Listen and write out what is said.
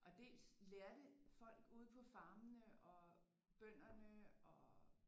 Og dels lærte folk ude på farmene og bønderne og